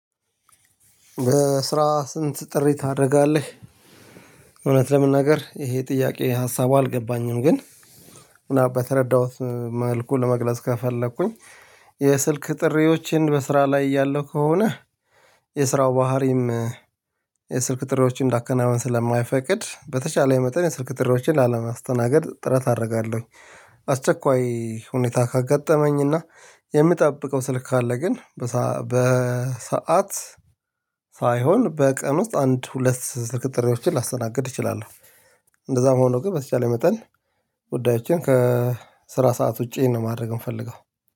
በስራ ስንት ጥሪ ታደርጋለህ? እውነት ለመናገር ይሄ ጥያቄ ሀሳቡ አልገባኝም። ግን በተረዳሁት መልኩ ለመግለጽ ከፈለኩኝ የስልክ ጥሪዎቼን በስራ ላይ ያለው ከሆነ የስራው ባህሪም የስልክ ጥሪዎችን እንዳከናወን ስለማይፈቅድ በተቻለ የመጠን የስልክ ጥሪዎችን ላለማስተናገድ ጥረት አደርጋለሁኝ። አስቸኳይ ሁኔታ ካጋጠመኝና የምጠብቀው ስልክ ካለ ግን በሰአት በቀን ውስጥ አንድ ሁለት ስልክ ጥሪዎችን ላስተናግድ እችላለሁ። እንደዛ መሆን ነው ግን በተቻለ መጠን ጉዳዮችን ከስራ ሰዓት ውጪ ነው ማድረግ የምፈልገው